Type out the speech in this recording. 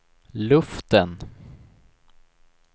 luften